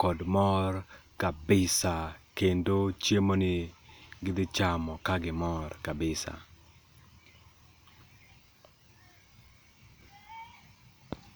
kod mor kabisa. Kendo chiemo ni gidhi chamo ka gimor kabisa.